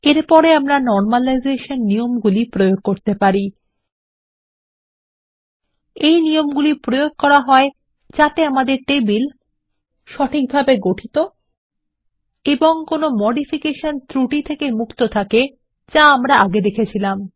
এর পরে আমরা নর্মালায়জেষণ নিয়মগুলি প্রয়োগ করতে পারি160 এগুলি ব্যবহার করা হয় যাতে আমাদের টেবিল ক সঠিকভাবে গঠিত এবং খ কোনো মডিফিকেশন ত্রুটি থেকে মুক্ত থাকে যা আমরা আগে দেখেছি